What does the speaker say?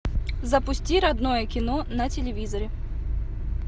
запусти родное кино на телевизоре